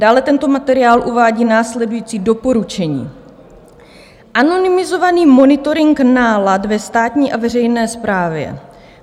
Dále tento materiál uvádí následující doporučení: "Anonymizovaný monitoring nálad ve státní a veřejné správě.